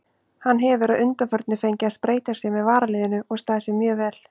Hann hefur að undanförnu fengið að spreyta sig með varaliðinu og staðið sig mjög vel.